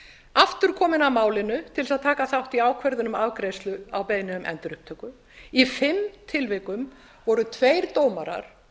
aftur kominn að málinu til þess að taka þátt í ákvörðun um afgreiðslu á beiðni um endurupptöku í fimm tilvikum voru tveir dómarar